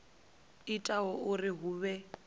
o ita uri hu vhe